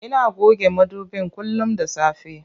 Ina goge madubin kullum da safe.